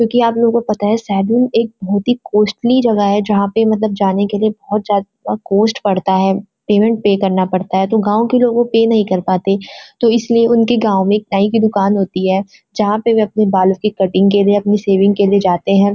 क्‍योंकि आप लोगों को पता सैलून एक बहोत ही कॉस्ट्ली जगह है जहाँ पे मतलब जाने के लिए बहोत ज्‍यादा कॉस्ट पड़ता है पेमेन्‍ट पे करना पड़ता है तो गांव के लोग वो पे नही कर पाते हैं तो उनके गांव में एक नाई की दुकान होती है जहां पे वे अपनी बाल की कटिंग के लिए अपनी स्शेविंग के लिए जाते हैं।